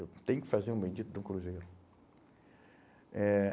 Eu tenho que fazer um bendito de um cruzeiro. Eh